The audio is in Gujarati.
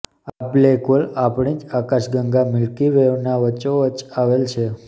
આ બ્લેક હોલ આપણી જ આકાશ ગંગા મિલ્કી વેના વચ્ચોવચ્ચ આવેલ છે